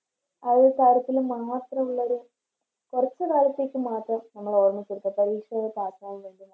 അയ്യ കാര്യത്തില് മാത്രോള്ളൊരു കൊറച്ച് കാലത്തേക്ക് മാത്രം നമ്മളിറങ്ങിക്കൊടുക്കുക പരീക്ഷയുടെ